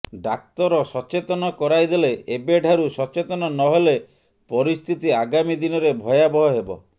ଡାକ୍ତର ସଚେତନ କରାଇଦେଲେ ଏବେଠାରୁ ସଚେତନ ନ ହେଲେ ପରିସ୍ଥିତି ଆଗାମୀ ଦିନରେ ଭୟାବହ ହେବ